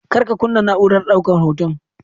Kar ka kunna na'urar daukar hoton.